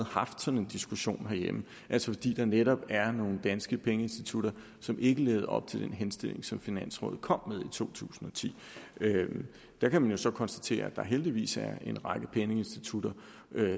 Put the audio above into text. haft sådan en diskussion herhjemme altså fordi der netop er nogle danske pengeinstitutter som ikke lever op til den henstilling som finansrådet kom med i to tusind og ti man kan jo så konstatere at der heldigvis er en række pengeinstitutter